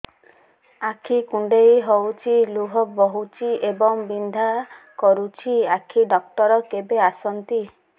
ଆଖି କୁଣ୍ଡେଇ ହେଉଛି ଲୁହ ବହୁଛି ଏବଂ ବିନ୍ଧା କରୁଛି ଆଖି ଡକ୍ଟର କେବେ ଆସନ୍ତି